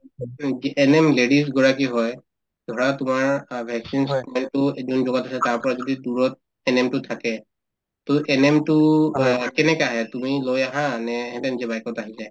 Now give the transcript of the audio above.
ANM ladies গৰাকী হয় ধৰা তোমাৰ অ vaccines আছে তাৰপৰা যদি দূৰত ANM তো থাকে to ANM তো অ কেনেকে আহে তুমি লৈ আহা নে সিহঁতে নিজে bike ত আহি যায়